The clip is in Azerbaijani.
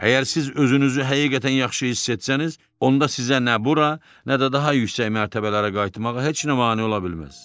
Əgər siz özünüzü həqiqətən yaxşı hiss etsəniz, onda sizə nə bura, nə də daha yüksək mərtəbələrə qayıtmağa heç nə mane ola bilməz.